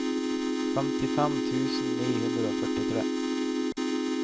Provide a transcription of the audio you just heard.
femtifem tusen ni hundre og førtifire